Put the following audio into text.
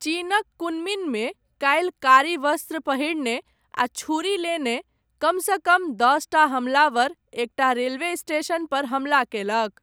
चीनक कुनमिङ्गमे, काल्हि, कारी वस्त्र पहिरने, आ छूरी लेने, कमसँ कम दसटा हमलावर, एकटा रेलवे स्टेशनपर हमला कयलक।